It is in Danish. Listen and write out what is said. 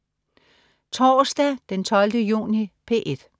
Torsdag den 12. juni - P1: